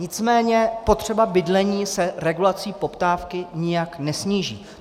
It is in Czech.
Nicméně potřeba bydlení se regulací poptávky nijak nesníží.